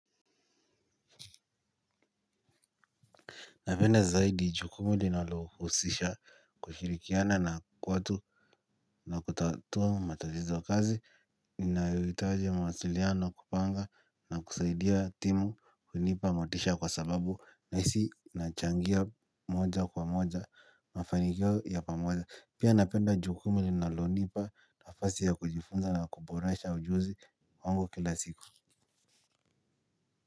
Napenda zaidi jukumu linalohusisha kushirikiana na watu na kutatua matazizo kazi. Inayohitaji mawasiliano kupanga na kusaidia timu hunipa motisha kwa sababu nahisi nachangia moja kwa moja mafanikio ya pamoja pia napenda jukumu linalonipa nafasi ya kujifunza na kuboresha ujuzi wangu kila siku.